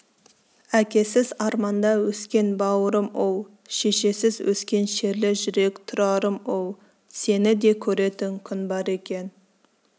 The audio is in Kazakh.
әкесіз арманда өскен бауырым-оу шешесіз өскен шерлі жүрек тұрарым-оу сені де көретін күн бар екен